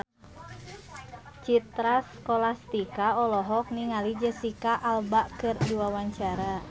Citra Scholastika olohok ningali Jesicca Alba keur diwawancara